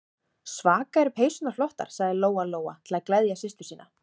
Svaka eru peysurnar flottar, sagði Lóa-Lóa til að gleðja systur sína.